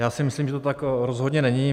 Já si myslím, že to tak rozhodně není.